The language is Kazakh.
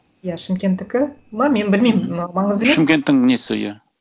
иә шымкенттікі ме мен білмеймін маңызды емес шымкенттің несі иә